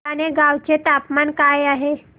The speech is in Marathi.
भटाणे गावाचे तापमान काय आहे